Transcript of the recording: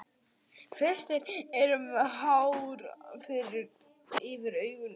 Flestir eru með hár yfir augunum.